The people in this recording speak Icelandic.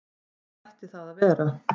Hvað ætti það að vera?